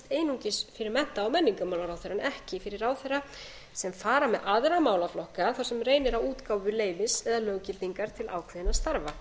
einungis fyrir mennta og menningarmálaráðherra en ekki fyrir ráðherra sem fara með aðra málaflokka þar sem reynir á útgáfu leyfis eða löggildingar til ákveðinna starfa